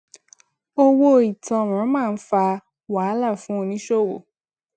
owó ìtanràn máa ń fa wahala fún oníṣòwò